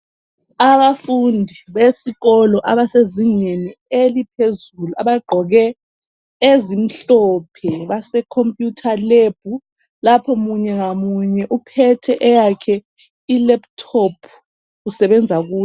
Abafundi besikolo abasezingeni eliphezulu abagqoke ezimhlophe basekhomputha lebhu lapho munye ngamunye uphethe eyakhe ilaptop usebenza kuyo.